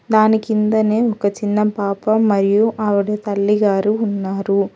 దాని కిందనే ఒక చిన్న పాప మరియు ఆవిడ తల్లి గారు ఉన్నారు.